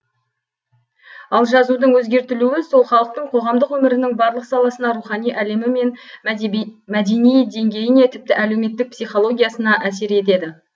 ал жазудың өзгертілуі сол халықтың қоғамдық өмірінің барлық саласына рухани әлемі мен мәдени деңгейіне тіпті әлеуметтік психологиясына әсер етеді